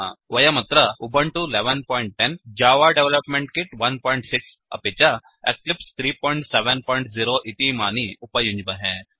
वयमत्र उबुन्तु 1110 जव development kit 16 अपि च एक्लिप्स 370 इतीमानि उपयुञ्ज्महे